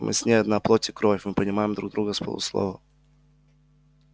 мы с ней одна плоть и кровь мы понимаем друг друга с полуслова